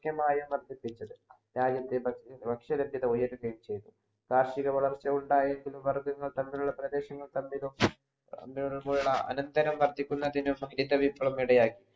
മായാ വർധിപ്പിച്ചത് രാജ്യത്തെ ഭക്ഷ്യനിലത്തിലെ ഉയർത്തുകയും ചയ്തു കാർഷിക വളർച്ച ഉണ്ടായേക്കുമെന്ന പറഞ്ഞു തമ്മിൽ പ്രദേശങ്ങൾ തമ്മിലും അതുപോലുള്ള അനന്തരം വർധിക്കുന്നതിനും ഹരിത വിപ്ലവം ഇടയായി